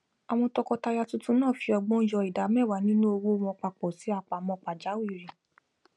àwọn tọkọtaya tuntun náà fi ọgbọn yo ida meewa nínú owó wọn papọ sí apamọ pajawirí